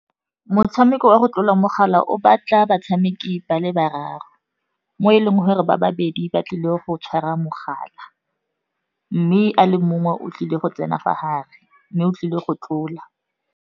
Motshameko wa go tlola mogala o batla batshameki ba le bararo, mo e leng gore ba babedi ba tlile go tshwara mogala, mme a le mongwe o tlile go tsena fa gare mme o tlile go tlola.